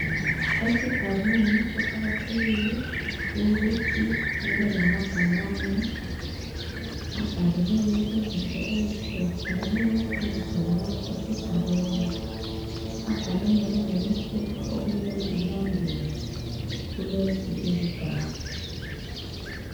Esigabeni kuqakathekile ukuthi kube lamabhakane abhaliweyo izinto ezitshiye tshiyeneyo ezitholakala esigabeni abhalwe njalo lemithetho okumelwe ilandelwe kulezi izigaba.